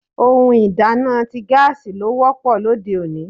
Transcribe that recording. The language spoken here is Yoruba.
Ohun ìdáná ti gaasi ló wọ́pọ̀ lóde òní.